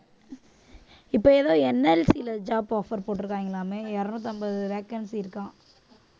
இப்ப எதோ NLC ல job offer போட்டு இருக்காங்களாமே இருநூற்று ஐம்பது vacancy இருக்காம்